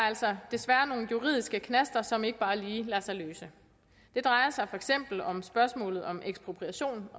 altså desværre nogle juridiske knaster som ikke bare lige lader sig løse det drejer sig for eksempel om spørgsmålet om ekspropriation